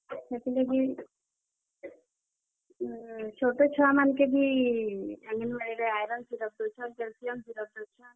ହେତିର୍ ଲାଗି, ଛୋଟ, ଛୁଆ ମାନଙ୍କୁ ବି ଇଟା ଆଇରନ୍ ସିରଫ୍ ଦଉଛନ୍, କ୍ୟାଲସିୟମ୍ ସିରଫ ଦଉଛନ୍।